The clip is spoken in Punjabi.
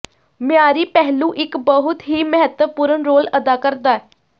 ਮਿਆਰੀ ਪਹਿਲੂ ਇੱਕ ਬਹੁਤ ਹੀ ਮਹੱਤਵਪੂਰਨ ਰੋਲ ਅਦਾ ਕਰਦਾ